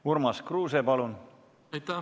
Urmas Kruuse, palun!